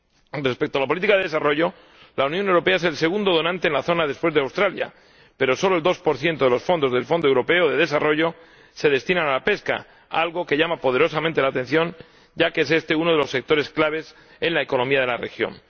Con respecto a la política de desarrollo, la Unión Europea es el segundo donante en la zona después de Australia, pero solo el 2 de los fondos del Fondo Europeo de Desarrollo se destinan a la pesca, algo que llama poderosamente la atención, ya que es este uno de los sectores clave en la economía de la región.